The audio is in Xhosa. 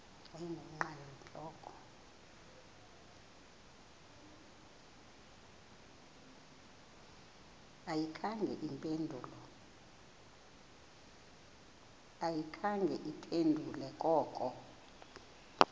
ayikhange iphendule koko